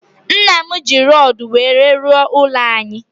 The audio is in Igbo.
Nnam ji rodu nwere rụọ ụlọ anyi